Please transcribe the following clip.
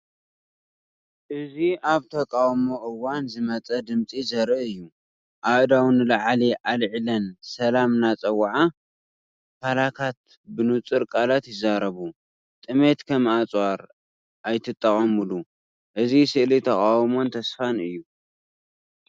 እዚ ኣብ ተቃውሞ እዋን ዝመፀ ድምጺ ዘርኢ እዩ። ኣእዳው ንላዕሊ ኣልዒለን ሰላም እናጸውዓ። ፓላካት ብንጹር ቃላት ይዛረቡ፤ ‘ጥሜት ከም ኣጽዋር ኣይትጠቐመሉ!’ እዚ ስእሊ ተቓውሞን ተስፋን እዩ።